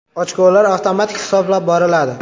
Ochkolar avtomatik hisoblab boriladi.